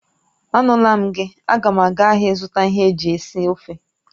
Anula m gi, aga m aga ahịa ịzụta ihe eji esi ofe